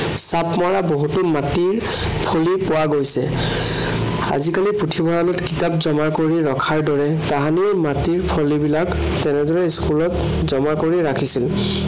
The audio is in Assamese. চাপ মৰা বহুতো মাটিৰ ফলি পোৱা গৈছে। আজি কালি পুথিভঁৰালত কিতাপ জমা কৰি ৰখাৰ দৰে তাহানিৰ মাটিৰ ফলিবিলাক তেনেদৰে school ত জমা কৰি ৰাখিছিল।